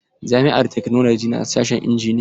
Jami'ar taknolaji na da sashen injiniya.